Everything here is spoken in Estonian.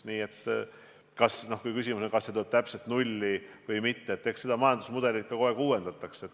Nii et kui küsimus on, kas see tuleb täpselt nulli või mitte, siis eks seda majandusmudelit kogu aeg uuendatakse.